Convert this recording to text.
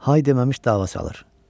Hay deməmiş dava salır.